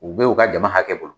U be yen u ka jama hakɛ bolo.